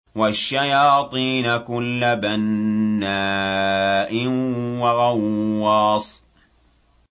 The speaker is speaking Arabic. وَالشَّيَاطِينَ كُلَّ بَنَّاءٍ وَغَوَّاصٍ